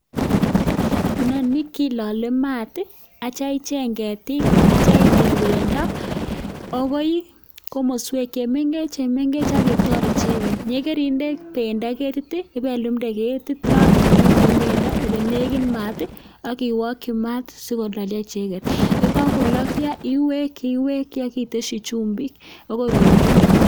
Inoni kilole maat tii aityo icheng ketik ak ityo itil pendo akoi komoswek chemengech chemengech ak itor icheket, yekeinde pendo keti ipelumde ketit noton nemiten pendo ole nekit maat tii ak iwoki maat sikololyo icheket. Yekokololyo iweki iweki ak iteshi chumbik akoi koruryo.